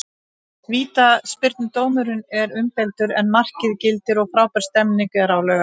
Vítaspyrnudómurinn er umdeildur en markið gildir og frábær stemning er á Laugardalsvelli.